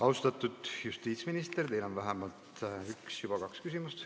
Austatud justiitsminister, teile on vähemalt üks ..., nüüd juba kaks küsimust.